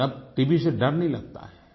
लेकिन अब टीबी से डर नहीं लगता है